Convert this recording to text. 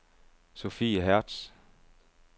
Sophie Hertz